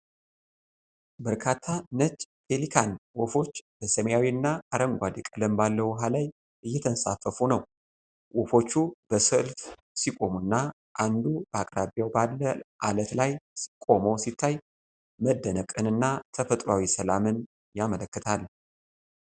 በርካታ ነጭ ፔሊካን ወፎች በሰማያዊና አረንጓዴ ቀለም ባለው ውሃ ላይ እየተንሳፈፉ ነው። ወፎቹ በሰልፍ ሲቆሙና አንዱ በአቅራቢያው ባለው ዓለት ላይ ቆሞ ሲታይ መደነቅን እና ተፈጥሮአዊ ሰላምን ያመለክታል።